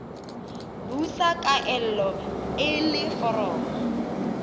busa kaelo e le foromo